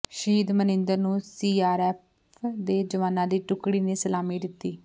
ਸ਼ਹੀਦ ਮਨਿੰਦਰ ਨੂੰ ਸੀਆਰਪੀਐਫ ਦੇ ਜਵਾਨਾਂ ਦੀ ਟੁਕੜੀ ਨੇ ਸਲਾਮੀ ਦਿੱਤੀ